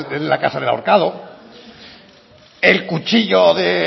de la casa del ahorcado el cuchillo de